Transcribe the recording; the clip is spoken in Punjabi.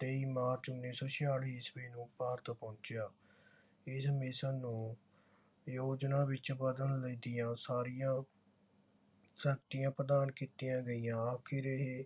ਤੇਈ ਮਾਰਚ ਉੱਨੀ ਸੌ ਛਿਆਲੀ ਈਸਵੀ ਨੂੰ ਭਾਰਤ ਪਹੁੰਚਿਆ। ਇਸ ਮਿਸ਼ਨ ਨੂੰ ਯੋਜਨਾ ਵਿਚ ਬਦਲਣ ਦੀਆਂ ਸਾਰੀਆਂ ਸ਼ਕਤੀਆਂ ਪ੍ਰਧਾਨ ਕੀਤੀਆਂ ਗਈਆਂ। ਆਖਿਰ ਇਹ